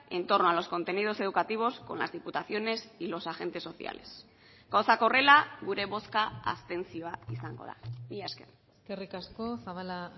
entorno a los contenidos educativos con las diputaciones y los agentes sociales gauzak horrela gure bozka abstentzioa izango da mila esker eskerrik asko zabala